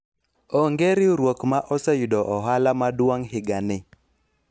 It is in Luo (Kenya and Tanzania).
onge riwruok ma oseyudo ohala maduong' higa ni